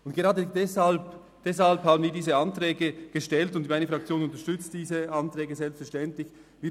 Und gerade deshalb haben wir diese Anträge gestellt, und meine Fraktion unterstützt selbstverständlich diese Anträge.